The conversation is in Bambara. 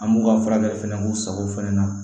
An b'u ka fura fɛnɛ k'u sagow fɛnɛ na